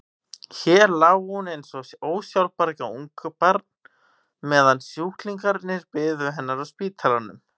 Hér lá hún eins og ósjálfbjarga ungbarn meðan sjúklingarnir biðu hennar á spítalanum.